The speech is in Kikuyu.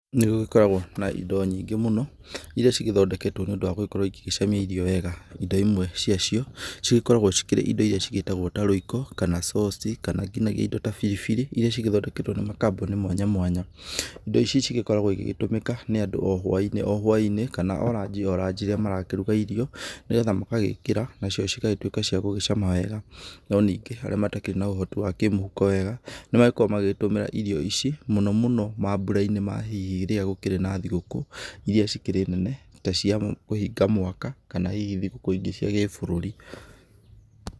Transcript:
Nĩ gũgĩkoragwo na indo nyingĩ mũno iria cigĩthondeketwo nĩ ũndũ wa gũgĩkorwo igĩcamia irio wega. Indo imwe ciacio cigĩkoragwo cikĩrĩ indo igĩtagwo ta rũiko kana coci kana nginagia indo ta biribiri irĩa cigĩthondeketwo nĩ makambuni mwanya mwanya. Indo ici cigĩkoragwo igĩtũmĩka nĩ andũ o hwainĩ kana o ranji o ranji rĩrĩa mararuga irio nĩ getha magagĩkĩra nacio cigagĩtuĩka cia gũgĩcama wega, no ningĩ arĩa matakĩrĩ na ũhoti wa kĩmũhuko wega, nĩmakoragwo magĩtũmĩra irio ici mũno mũno mambũra-inĩ ma hihi rĩrĩa gũkĩrĩ na thigũkũ iria cikĩrĩ nene ta cia kũhinga mwaka kana hihi thikũ ingĩ cia gĩbũrũrĩ.